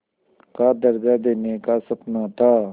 का दर्ज़ा देने का सपना था